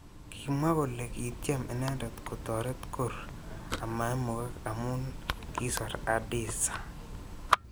Kimwa kole kityem inendet kotoret Gor amaimukak amu kisor Adisa.